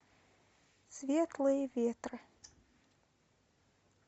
светлые ветры